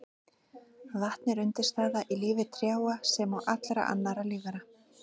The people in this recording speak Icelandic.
Vatn er undirstaða í lífi trjáa sem og allra annarra lífvera.